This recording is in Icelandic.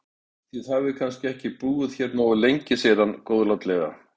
Þið hafið kannski ekki búið hér nógu lengi segir hann góðlátlega.